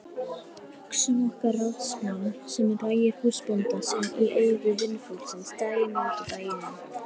Hugsum okkur ráðsmann sem rægir húsbónda sinn í eyru vinnufólksins daginn út og daginn inn.